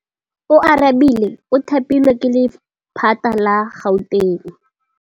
Oarabile o thapilwe ke lephata la Gauteng.